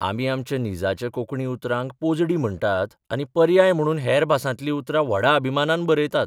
आमी आमच्या निजाच्या कोंकणी उतरांक पोजडी म्हणटात आनी पर्याय म्हणून हेर भासांतलीं उतरां व्हडा अभिमानान बरयतात.